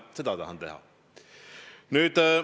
Seda tahan teha!